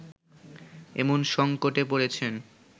এমন সংকটে পড়েছেন